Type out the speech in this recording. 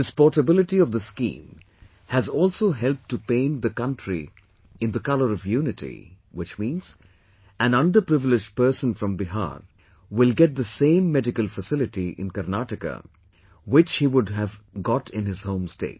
This portability of the scheme has also helped to paint the country in the color of unity, which means, an underprivileged person from Bihar will get the same medical facility in Karnataka, which he would have got in his home state